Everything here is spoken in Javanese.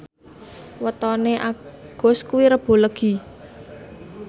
wetone Agus kuwi Rebo Legi